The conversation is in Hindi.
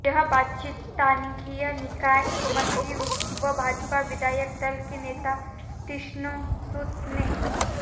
यह बात स्थानीय निकाय मंत्री व भाजपा विधायक दल के नेता तीक्ष्ण सूद ने